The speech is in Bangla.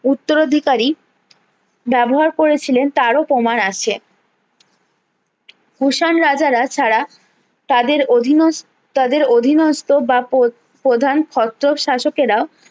উত্তর অধিকারী ব্যবহার করেছিলেন তারও প্রমান আছে কুষাণ রাজারা ছাড়া তাদের অধীনস্ত তাদের অধীনস্ত বা প্র প্রধান হস্ত শাসকেরা